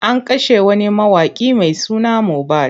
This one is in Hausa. An kashe wani mawaƙi mai suna Mobad.